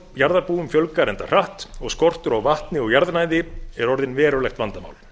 jarðarbúum fjölgar enda hratt og skortur á vatni og jarðnæði er orðinn verulegt vandamál